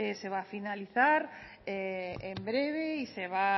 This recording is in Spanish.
se va a finalizar en breve